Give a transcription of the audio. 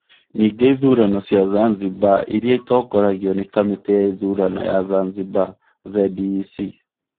Ningĩ ithurano cia Zanzibar iria itongoragio nĩ kamĩtĩ ya ithurano ya Zanzibar (ZEC).